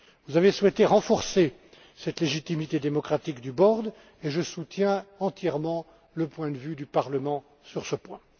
Parlement. Vous avez souhaité renforcer cette légitimité démocratique du conseil de résolution et je soutiens entièrement le point de vue du Parlement sur